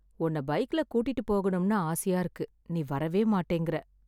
உன்னை பைக்ல கூட்டிட்டு போகணும்னு ஆசையா இருக்கு, நீ வரவேமாட்டேங்கற...